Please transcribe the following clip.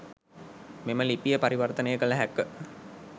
මෙම ලිපිය පරිවර්තනය කළ හැක.